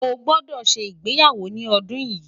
ọ gbódò ṣé ìgbéyàwó ní ọdún yi